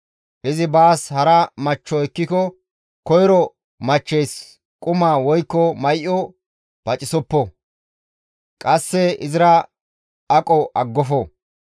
Izi baas hara machcho ekkiko koyro machcheys quma woykko may7o pacisoppo; qasse izira aqo aggofo.